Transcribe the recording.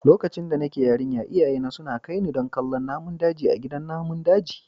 Lokacin da nake yarinya iyayena suna kai ni don kallon namun daji a gidan namun daji.